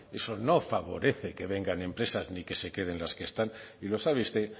eso no favorece que vengan empresas ni que se queden las que están y lo sabe usted